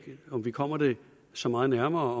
om vi kommer det så meget nærmere